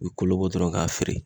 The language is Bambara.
U bɛ kolo bɔ dɔrɔn k'a feere